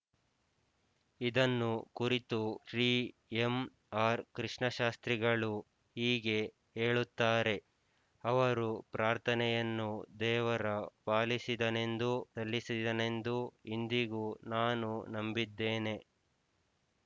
ಇದನ್ನು ಕುರಿತು Shri M R ಕೃಷ್ಣಶಾಸ್ತ್ರಿಗಳು ಹೀಗೆ ಹೇಳುತ್ತಾರೆಅವರು ಪ್ರಾರ್ಥನೆಯನ್ನು ದೇವರ ಪಾಲಿಸಿದನೆಂದೂ ಸಲ್ಲಿಸಿದನೆಂದೂ ಇಂದಿಗೂ ನಾನು ನಂಬಿದ್ದೇನೆ